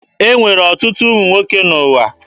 E nwere ọtụtụ ụmụ nwoke n'ụwa.